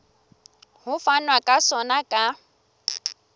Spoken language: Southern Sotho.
ho fanwa ka sona ka